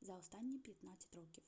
за останні 15 років